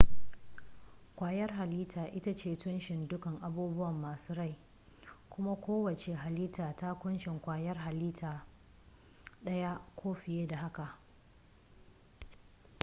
ƙwayar halitta ita ce tushen dukkan abubuwa masu rai kuma kowacce halitta ta kunshi kwayar halitta ɗaya ko fiye da haka